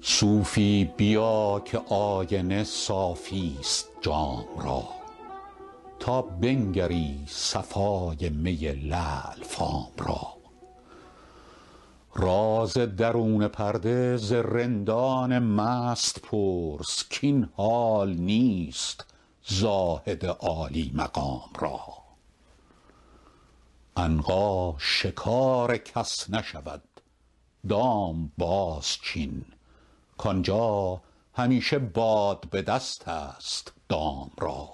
صوفی بیا که آینه صافی ست جام را تا بنگری صفای می لعل فام را راز درون پرده ز رندان مست پرس کاین حال نیست زاهد عالی مقام را عنقا شکار کس نشود دام بازچین کآنجا همیشه باد به دست است دام را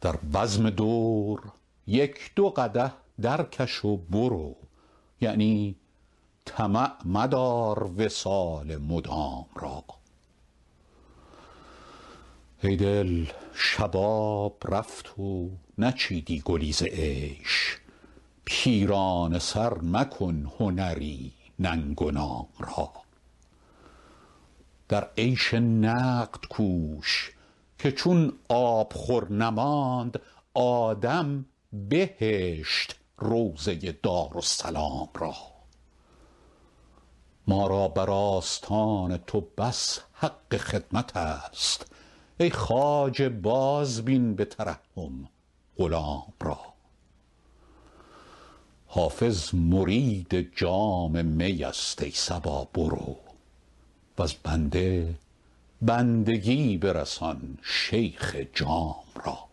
در بزم دور یک دو قدح درکش و برو یعنی طمع مدار وصال مدام را ای دل شباب رفت و نچیدی گلی ز عیش پیرانه سر مکن هنری ننگ و نام را در عیش نقد کوش که چون آبخور نماند آدم بهشت روضه دارالسلام را ما را بر آستان تو بس حق خدمت است ای خواجه بازبین به ترحم غلام را حافظ مرید جام می است ای صبا برو وز بنده بندگی برسان شیخ جام را